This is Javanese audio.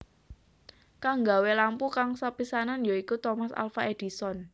Kang nggawé lampu kang sepisanan ya iku Thomas Alfa Edison